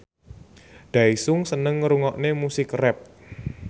Daesung seneng ngrungokne musik rap